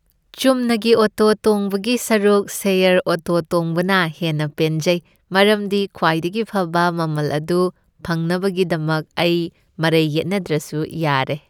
ꯆꯨꯝꯅꯒꯤ ꯑꯣꯇꯣ ꯇꯣꯡꯕꯒꯤ ꯁꯔꯨꯛ ꯁꯦꯌꯔ ꯑꯣꯇꯣ ꯇꯣꯡꯕꯅ ꯍꯦꯟꯅ ꯄꯦꯟꯖꯩ ꯃꯔꯝꯗꯤ ꯈ꯭ꯋꯥꯏꯗꯒꯤ ꯐꯕ ꯃꯃꯜ ꯑꯗꯨ ꯐꯪꯅꯕꯒꯤꯗꯃꯛ ꯑꯩ ꯃꯔꯩ ꯌꯦꯠꯅꯗ꯭ꯔꯁꯨ ꯌꯥꯔꯦ ꯫